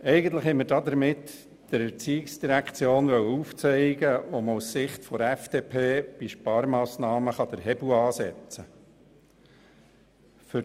Eigentlich wollten wir der ERZ damit aufzeigen, wo man aus Sicht der FDP bei Sparmassnahmen den Hebel ansetzen kann.